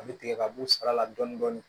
A bɛ tigɛ ka bɔ sara la dɔɔnin dɔɔnin